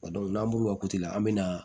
n'an bɔra la an bɛ na